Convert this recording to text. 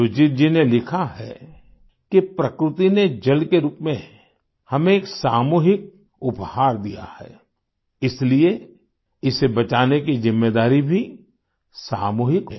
सुजीत जी ने लिखा है कि प्रकृति ने जल के रूप में हमें एक सामूहिक उपहार दिया है इसलिए इसे बचाने की जिम्मेदारी भी सामूहिक है